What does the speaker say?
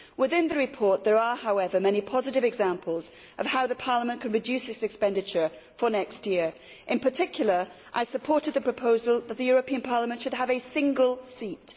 Within the report there are, however, many positive examples of how Parliament can reduce its expenditure for next year. In particular, I supported the proposal that the European Parliament should have a single seat.